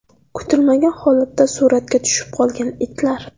Kutilmagan holatda suratga tushib qolgan itlar .